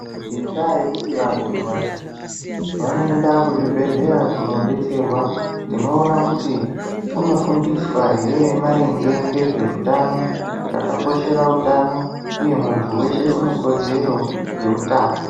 Ngendaa yekuti vanhu vazhinji vanoenda kuzvibhedlera kuno detserwa tinowona kuti kunofundiswa maringe ngezve hutano, zvakakoshera hutano uye muntu weshe unekodzero yehutano.